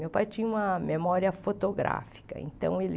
Meu pai tinha uma memória fotográfica, então ele...